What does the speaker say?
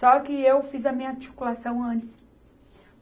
Só que eu fiz a minha articulação antes.